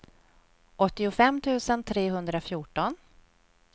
åttiofem tusen trehundrafjorton